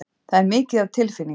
Það er mikið af tilfinningum.